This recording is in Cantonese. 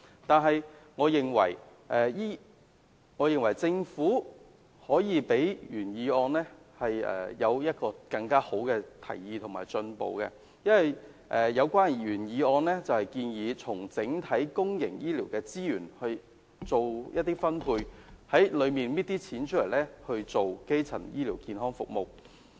但是，我認為政府可以做得比原議案的提議更好及更進步，因為原議案建議從整體公營醫療資源作出一些分配，從中取一些金錢來推行基層醫療健康服務。